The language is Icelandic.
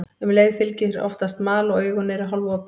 Um leið fylgir oftast mal og augun eru hálfopin.